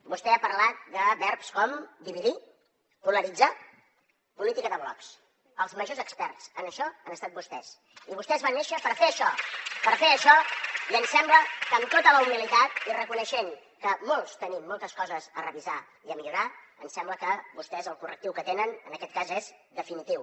vostè ha parlat de verbs com dividir polaritzar política de blocs els majors experts en això han estat vostès i vostès van néixer per fer això humilitat i reconeixent que molts tenim moltes coses a revisar i a millorar ens sembla que vostès el correctiu que tenen en aquest cas és definitiu